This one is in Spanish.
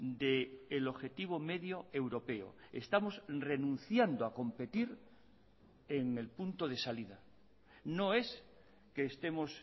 del objetivo medio europeo estamos renunciando a competir en el punto de salida no es que estemos